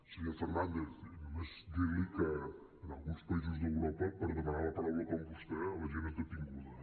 senyor fernández només dir li que en alguns països d’europa per demanar la paraula com vostè la gent és detinguda